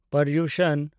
Paryushan